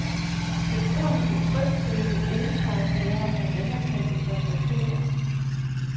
Forbrugerne kan trygt købe elsparepærer af anerkendte fabrikater.